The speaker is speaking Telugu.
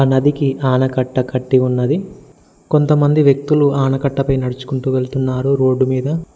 నదికి ఆనకట్ట కట్టి ఉన్నది కొంతమంది వ్యక్తులు ఆనకట్ట పై నడుచుకుంటూ వెళ్తున్నారు రోడ్డు మీద.